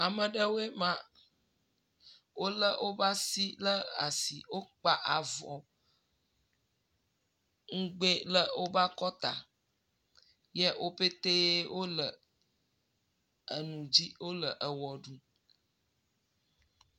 Ame aɖewoɔe ma. Wole woƒe asi le asi eye wokpa avɔ ŋugbe le woƒe akɔta. Ye woƒete wole eŋu dzi wo le ewɔ ɖum.